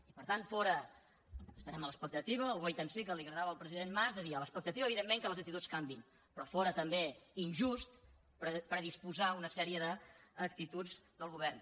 i per tant estarem a l’expectativa al wait and see que li agradava al president mas de dir a l’expectativa evidentment que les actituds canviïn però fóra també injust predisposar una sèrie d’actituds del govern